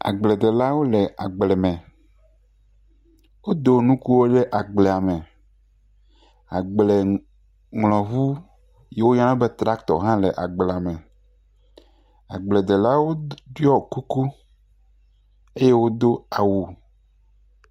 Agbledelawo le agble me. Wodo nukuwo ɖe agblea me. Agbleŋlɔŋu yiwo yɔna be traktɔ hã le agblea me. Agbledelawo ɖiɔ kuku eye wodo awu.